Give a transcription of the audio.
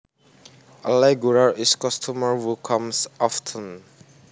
A regular is a customer who comes often